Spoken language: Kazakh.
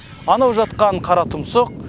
анау жатқан қаратұмсық